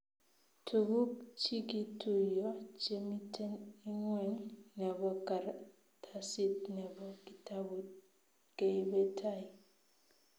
Tuguk chigituiyo chemiten ingweny nebo karatasit nebo kitabut keibe tai---